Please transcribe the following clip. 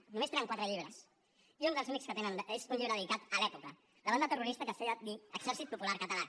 només tenen quatre llibres i un dels únics que tenen és un llibre dedicat a l’epoca la banda terrorista que es feia dir exèrcit popular català